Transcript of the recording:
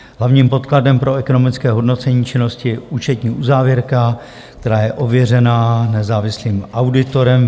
Hlavním podkladem pro ekonomické hodnocení činnosti je účetní uzávěrka, která je ověřená nezávislým auditorem.